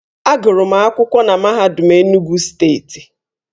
Agụrụ m akwụkwọ na MAHADUM ENUGWU STEETI.